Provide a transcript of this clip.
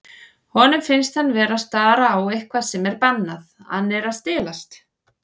Honum finnst hann vera að stara á eitthvað sem er bannað, hann er að stelast.